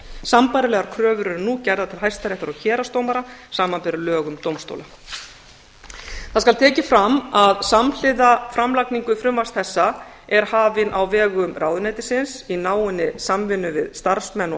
sambærilegar kröfur eru nú gerðar til hæstaréttar og héraðsdómara samanber lög um dómstóla það skal tekið fram að samhliða framlagningu frumvarps þessa er hafin á vegum ráðuneytisins í náinni samvinnu við starfsmenn og